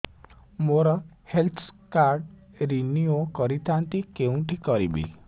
ମୋର health card renew କରିଥାନ୍ତି କୋଉଠି କରିବି